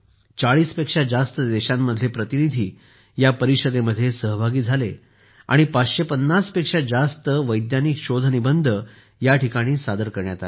40 पेक्षा जास्त देशांमधले प्रतिनिधी या परिषदेत सहभागी झाले आणि 550 पेक्षा जास्त वैज्ञानिक शोधनिबंध सादर करण्यात आले